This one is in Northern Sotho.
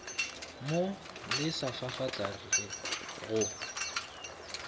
mo lesa fafatla re go